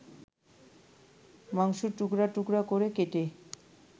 মাংসটুকরা টুকরা করে কেটে